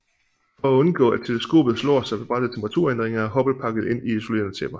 For at undgå at teleskopet slår sig ved bratte temperaturændringer er Hubble pakket ind i isolerende tæpper